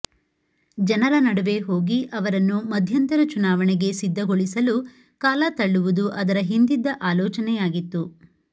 ಜನರ ನಡುವೆ ಹೋಗಿ ಅವರನ್ನು ಮಧ್ಯಂತರ ಚುನಾವಣೆಗೆ ಸಿಧ್ಧಗೊಳಿಸಲು ಕಾಲ ತಳ್ಳುವುದು ಅದರ ಹಿಂದಿದ್ದ ಆಲೋಚನೆಯಾಗಿತ್ತು